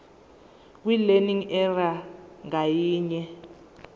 kwilearning area ngayinye